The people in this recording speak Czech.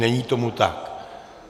Není tomu tak.